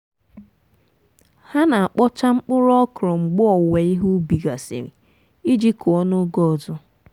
ha na-akpọcha mkpụrụ ọkrọ mgbe owuwe ihe ubi gasịrị iji kụọ n'oge ọzọ.